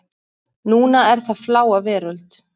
Núna er það Fláa veröld.